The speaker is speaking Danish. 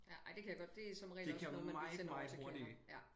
Ja ej det kan jeg godt det som regel også noget man ville sende over til kvinder ja